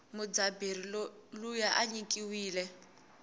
mudzabheri luya inyikiwile